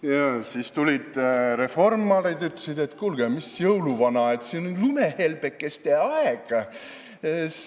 Ja siis tulid reformarid ja ütlesid, et kuulge, mis jõuluvana, praegu on lumehelbekeste aeg.